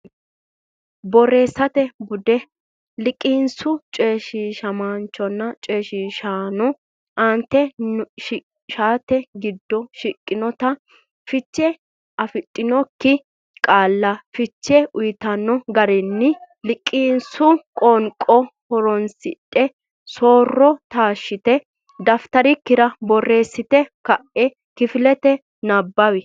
Borreessate Bude: Liqinsu Coyshiishamaanchonna Coyshiishaano Aante shaete giddo shiqqinota fiche afidhinokki qaalla fiche uytanno garinni liqinsu qoonqo honsidhe so’ro taashshite dafitarikkira borreessite ka’e kifilete nabbawi.